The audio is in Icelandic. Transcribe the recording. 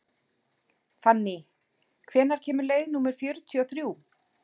Fanný, hvenær kemur leið númer fjörutíu og þrjú?